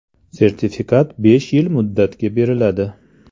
Sertifikat besh yil muddatga beriladi.